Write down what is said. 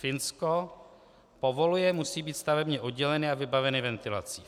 Finsko povoluje, musí být stavebně odděleny a vybavení ventilací.